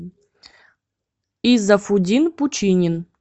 изафудин пучинин